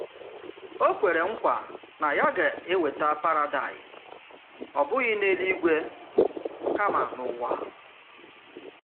Ó kwèrè nkwa na yà gà-èwètà Paradaịs, ọ̀ bụ́ghị n’èlú-ígwe, kama n’ụ̀wà.”